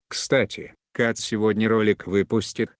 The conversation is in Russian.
кстати кат сегодня ролик выпустит